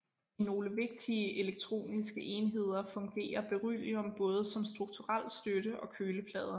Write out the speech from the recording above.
I nogle vigtige elektroniske enheder fungerer beryllium både som strukturel støtte og køleplade